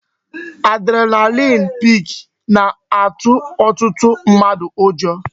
Adrenaline peak na-atụ ọtụtụ mmadụ ụjọ